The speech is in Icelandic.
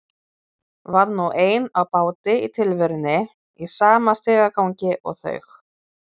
Var nú ein á báti í tilverunni í sama stigagangi og þau.